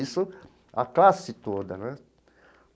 Isso a classe toda, né?